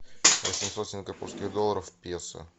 восемьсот сингапурских долларов в песо